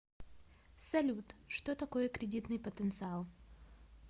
салют что такое кредитный потенциал